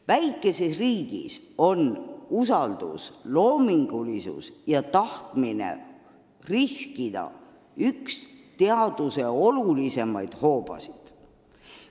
Väikeses riigis on usaldus, loomingulisus ja tahtmine riskida üks teaduse olulisimaid hoobasid.